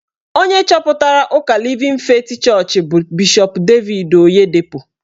Onye chọpụtara ụka Livin Feeti Chọọchị bụ Bishọp Devid Oyedepo.